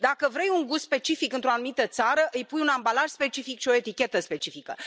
Dacă vrei un gust specific într o anumită țară, îi pui un ambalaj specific și o etichetă specifică.